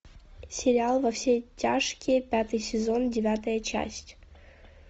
сериал во все тяжкие пятый сезон девятая часть